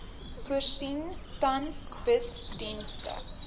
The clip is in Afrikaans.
voorsien tans busdienste